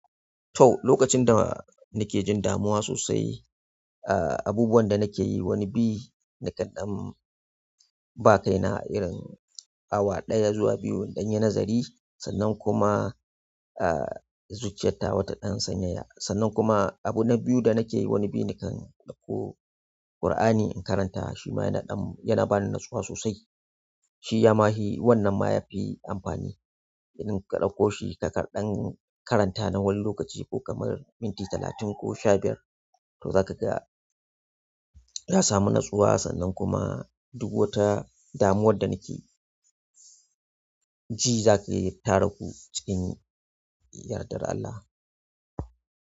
To lokacin da nikejin damuwa sosai abubuwan da nakeyi wani bi nikan ɗan ba kaina awa ɗaya zuwa biyu in ɗanyi nazari sannan kuma, ah, zuciyar tawa ta ɗan sanyaya. Sannan kuma abu na biyu da nake yi, wani biyu nakan ɗauko Kur'ani in karanta shi ma yana ɗan yana ba ni natsuwa sosai. Shi ya ma hi, wannan ma ya fi amfani irin ka ɗauko shi ka karɗan karanta na wani lokaci ko kamar minti talatin ko sha biyar. To za ka ga na samu natsuwa sannan kuma duk wata damuwar da nake ji za ka yi tara gu cikin yardar Allah.